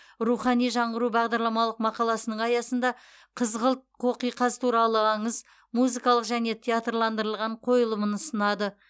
рухани жаңғыру бағдарламалық мақаласының аясында қызғылт қоқиқаз туралы аңыз музыкалық және театрландырылған қойылымын ұсынады